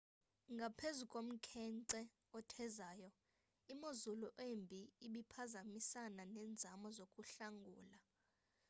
ngaphezu komkhenkce othezayo imozulu embi ibiphazamisana nenzame zokuhlangula